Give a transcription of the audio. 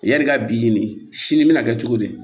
Yani i ka bi nin sini bɛna kɛ cogo di